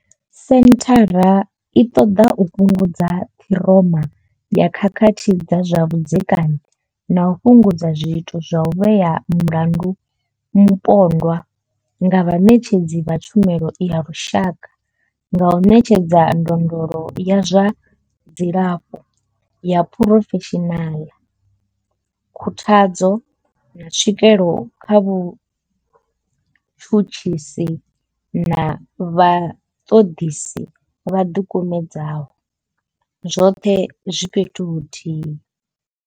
Senthara i ṱoḓa u fhungudza ṱhiroma ya khakhathi dza zwa vhudzekani na u fhungudza zwiito zwa u vhea mulandu mupondwa nga vhaṋetshedzi vha tshumelo ya lushaka nga u ṋetshedza ndondolo ya zwa dzilafho ya phurofeshinala, khuthadzo, na tswikelo kha vhatshutshisi na vhaṱoḓisi vho ḓikumedzaho, zwoṱhe zwi fhethu huthihi.